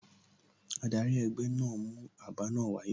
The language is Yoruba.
Adari egbe naa mu aba naa wa saye